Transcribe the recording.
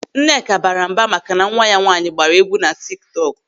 Nneka baara mba maka na nwa ya nwaanyị gbaara egwu na tik tọk.